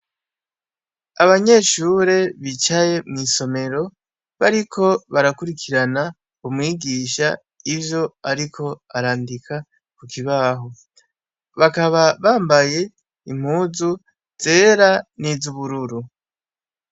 Abanyeshure bicaye mw'isomero, bariko barakwirikirana umwigisha ivyo ariko arandika kukibaho, bakaba bambaye impuzu zera nizubururu